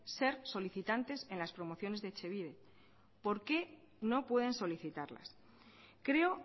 ser solicitantes en las promociones de etxebide por qué no puedensolicitarlas creo